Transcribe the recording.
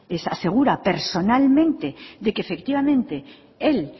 asegura personalmente de que efectivamente él